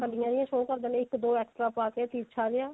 ਕਲੀਆਂ ਜੀ show ਕਰਦੇ ਆ ਇੱਕ ਦੋ extra ਪਾ ਕੇ ਤਿਰ੍ਸ਼ਾ ਜਿਹਾ